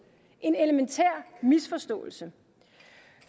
en elementær misforståelse